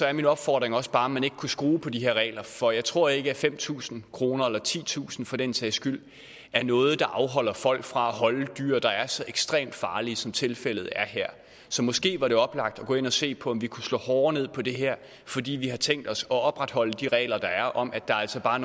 er min opfordring også bare om ikke man kunne skrue på de her regler for jeg tror ikke at fem tusind kroner eller titusind kroner for den sags skyld er noget der afholder folk fra at holde dyr der er så ekstremt farlige som tilfældet er her så måske var det oplagt at gå ind og se på om vi kunne slå hårdere ned på det her fordi vi har tænkt os at opretholde de regler der er om at der altså bare